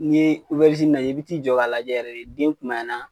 N'i ye obɛrizini lajɛ, i bi t'i jɔ ka lajɛ yɛrɛ den kumaya na.